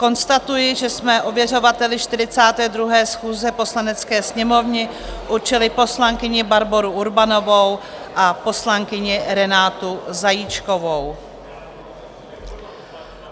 Konstatuji, že jsme ověřovatelkami 42. schůze Poslanecké sněmovny určili poslankyni Barboru Urbanovou a poslankyni Renátu Zajíčkovou.